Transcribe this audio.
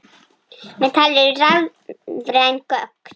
Ábyrg neysla.